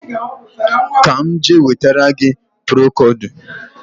Ka m je wetara gị procodu